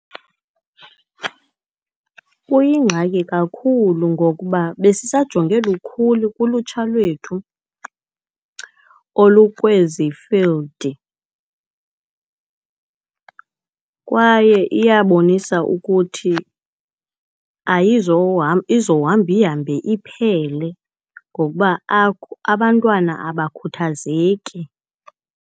Kuyingxaki kakhulu ngokuba besisajonge lukhulu kulutsha lwethu olukwezi field. Kwaye iyabonisa ukuthi izohamba ihambe iphele ngokuba abantwana abakhuthazeki.